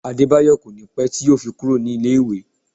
Adebayo kò ní pé tí yo fi kúrò ní ilé ìwé